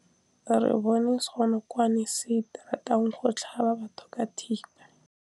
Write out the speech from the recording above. Re bone senokwane se se ratang go tlhaba batho ka thipa.